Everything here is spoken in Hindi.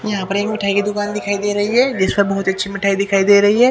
यहां पर एक मिठाई की दुकान दिखाई दे रही है जिसमें बहुत अच्छी मिटाई दिखाई दे रही है।